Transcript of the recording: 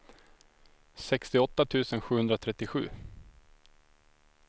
sextioåtta tusen sjuhundratrettiosju